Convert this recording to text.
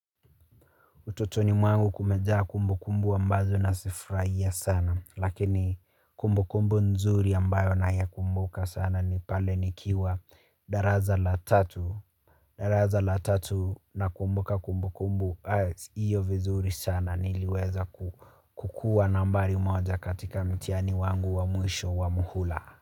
Utotoni mwangu kumejaa kumbukumbu ambazo nasifraia sana lakini kumbukumbu nzuri ambayo nayakumbuka sana ni pale nikiwa daraza la tatu nakumbuka kumbukumbu ndiyo vizuri sana niliweza kukua nambari moja katika mtihani wangu wa mwisho wa muhula.